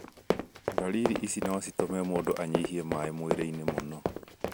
Ndariri ici no citũme mũndũ anyihie maaĩ mwĩrĩinĩ mũno.